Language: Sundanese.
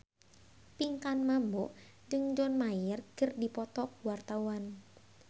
Pinkan Mambo jeung John Mayer keur dipoto ku wartawan